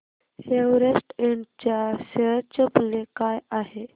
Everest Ind च्या share चे मूल्य काय आहे